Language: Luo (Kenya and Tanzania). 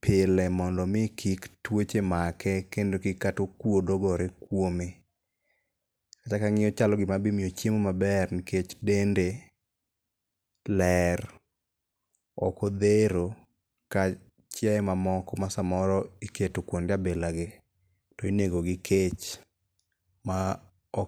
pile mondo omi kik tuoche make kendo kik kata okuodo gore kuome. Kacha kang'iye ochalo gima be imiyo chiemo maber ,nikech dende ler. Ok odhero ka chiaye mamoko ma samoro iketo kuonde bilagi to inego gi kech. Ma ok.